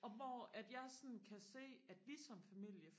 og hvor at jeg sådan kan se at vi som familie